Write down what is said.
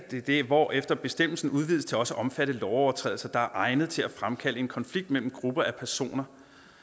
hvorefter bestemmelsen udvides til også at omfatte lovovertrædelser der er egnet til at fremkalde en konflikt mellem grupper af personer